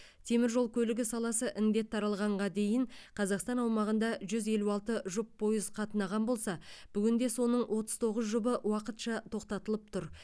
темір жол көлігі саласы індет таралғанға дейін қазақстан аумағында жүз елу алты жұп пойыз қатынаған болса бүгінде соның отыз тоғыз жұбы уақытша тоқтатылып тұр